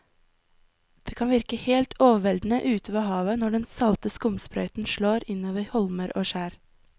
Det kan virke helt overveldende ute ved havet når den salte skumsprøyten slår innover holmer og skjær.